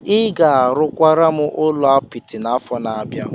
Ị ga-arụkwara m ụlọ apịtị n'afọ na-abịa.